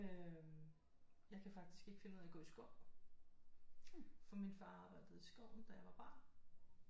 Øh jeg kan faktisk ikke finde ud af at gå i skov for min far arbejdede i skoven da jeg var barn